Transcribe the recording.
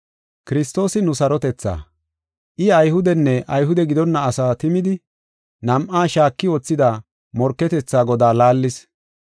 Kiristoosi nu sarotethaa; I Ayhudenne Ayhude gidonna asaa timidi, nam7aa shaaki wothida morketetha godaa laallis.